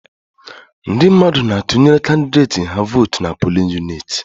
Ndị mmadụ na-atụnyere kandideti ha votu n'pulin uniti